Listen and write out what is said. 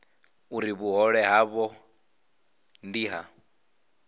uri vhuhole havho ndi ha